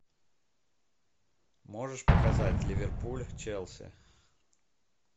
можешь показать ливерпуль челси